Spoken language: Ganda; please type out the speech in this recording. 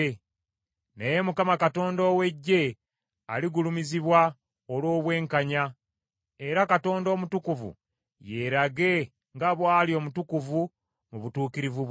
Naye Mukama Katonda ow’Eggye aligulumizibwa olw’obwenkanya, era Katonda Omutukuvu yeerage nga bw’ali omutukuvu mu butuukirivu bwe.